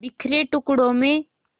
बिखरे टुकड़ों में